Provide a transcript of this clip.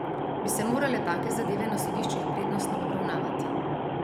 Bi se morale take zadeve na sodiščih prednostno obravnavati?